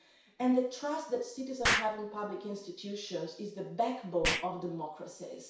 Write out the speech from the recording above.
and the trust that citizens have in public institutions is the backbone of democracies.